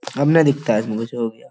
हमने दिखता है इसमें कुछ और --